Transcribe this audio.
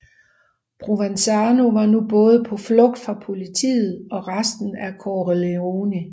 Provenzano var nu både på flugt fra politiet og resten af Corleonesi